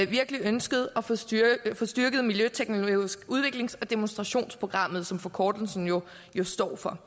virkelig ønsket at få styrket få styrket miljøteknologisk udviklings og demonstrationsprogram som forkortelsen jo står for